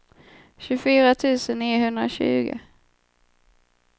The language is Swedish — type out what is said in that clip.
tjugofyra tusen niohundratjugo